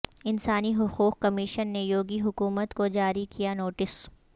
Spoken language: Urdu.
انسانی حقوق کمیشن نے یوگی حکومت کو جاری کیا نوٹس